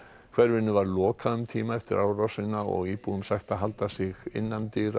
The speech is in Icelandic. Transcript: hverfinu var lokað um tíma eftir árásina og íbúum sagt að halda sig inni